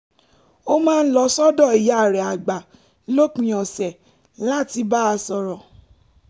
ó máa ń lọ sọ́dọ̀ ìyá rẹ̀ àgbà lópin ọ̀sẹ̀ láti bá a sọ̀rọ̀